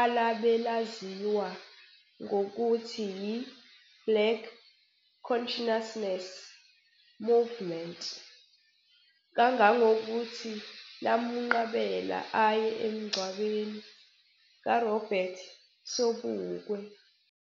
alabe laziwa ngokuthi yi-Black Conciousness Movement, kangangokuthi lamunqabela aye emgcwabeni kaRobert Sobukwe.